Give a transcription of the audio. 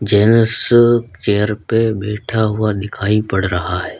Genus chair पे बैठा हुआ दिखायी पड़ रहा है।